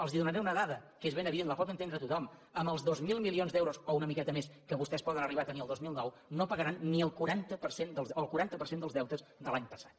els donaré una dada que és ben evident la pot entendre tothom amb els dos mil milions d’euros o una miqueta més que vostès poden arribar a tenir el dos mil nou no pagaran ni el quaranta per cent dels deutes de l’any passat